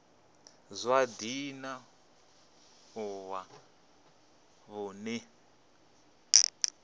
zwa dzinn ḓu wa vunḓu